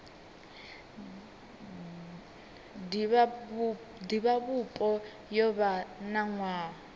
divhavhupo yo vha na nwaha